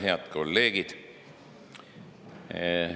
Head kolleegid!